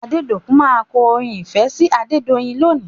Adédòkun má kọ orin ìfẹ́ sí Adedoyin lónìí.